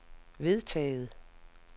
vedtaget